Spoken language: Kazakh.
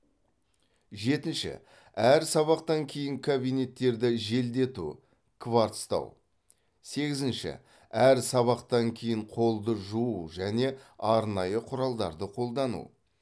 жетінші әр сабақтан кейін кабинеттерді желдету кварцтау сегізінші әр сабақтан кейін қолды жуу және арнайы құралдарды қолдану